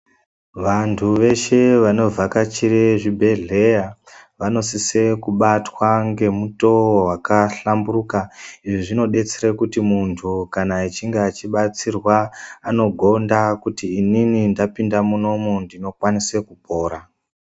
Vanthu veshe vanovakachire zvibhedhedhleya vanosise kubatwa ngemutoo wakahlamburuka izvi zvinodetsera kuti munthu kana echinge achibatsirwa anogonda kuti inini ndapinda munomu ndinokwanisa kupora.